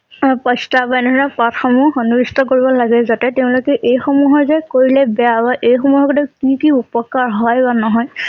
বা এনে ধৰণৰ পাঠ সমূহ সন্নিৱিষ্ট কৰিব লাগে যাতে তেওঁলোকে এই মানুহ যে কৰিলে বেয়া বা এই সমূহ কি কি উপকাৰ হয় বা নহয়